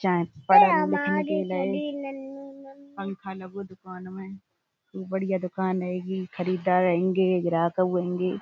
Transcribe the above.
चाहे पढ़न लिखन के लय। पंखा लगो दुकान में खूब बढ़िया दुकान हेंगी खरीददार हेंगे ग्राहकउ हेंगे।